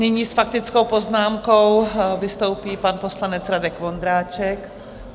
Nyní s faktickou poznámkou vystoupí pan poslanec Radek Vondráček.